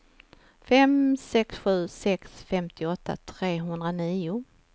fem sex sju sex femtioåtta trehundranio